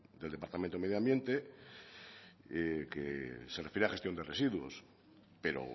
del departamento de medio ambiente que se refiere a gestión de residuos pero